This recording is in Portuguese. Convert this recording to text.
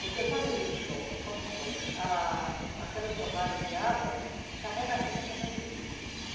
Porque quando o rio chove, quando chove, a aquela enxurrada de água carrega a terra para dentro do rio.